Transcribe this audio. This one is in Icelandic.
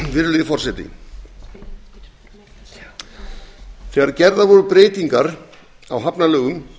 virðulegi forseti þegar gerðar voru breytingar á hafnalögum